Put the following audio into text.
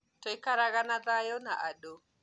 Tũikaraga na thayo na andũ